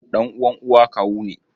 Ɗan'uwan uwa kawu ne.